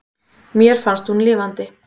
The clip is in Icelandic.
Mér fannst hún lifandi.